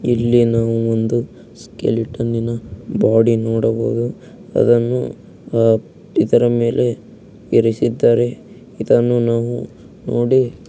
ಇಲ್ಲಿ ನಾವು ಒಂದು ಸ್ಕೆಲಿಟನ್ನಿನ್ನ ಬಾಡಿ ನೋಡಬಹುದು. ಅದನ್ನು ಆ ಇದ್ರ ಮೇಲೆ ಇರಿಸಿದ್ದಾರೆ ಇದನ್ನು ನಾವು ನೋಡಿ--